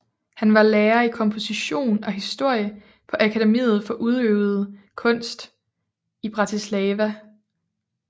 Han var lærer i komposition og historie på Akademiet for udøvende Kunst i Bratislava